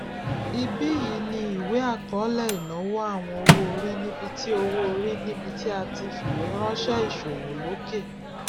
ibí yìí ni ìwé akọọlẹ ìnáwó àwọn owóorí níbí tí owóorí níbí tí a ti fiweranṣẹ iṣowo loke